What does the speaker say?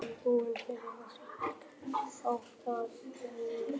Það var ekki kvíðvænlegt hlutskipti að lenda í Steininum.